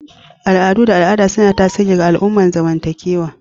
Al'adu da al'ada suna tasiri ga al'amuran zamantakewa